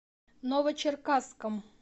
новочеркасском